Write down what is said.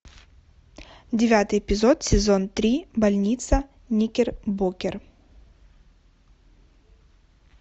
девятый эпизод сезон три больница никербокер